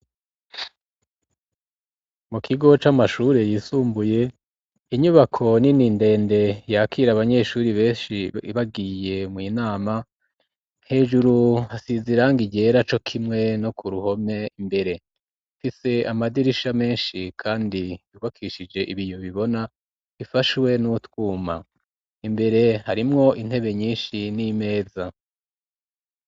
Mu kigo c'amashure yisumbuye inyubako nini ndende yakira abanyeshuri beshi bagiye mu nama hejuru hasize irangi ryera co kimwe no ku ruhome imbere ifise amadirisha meshi kandi yubakishije ibiyo bibona ifashwe n'utwuma imbere harimwo intebe nyishi n'imeza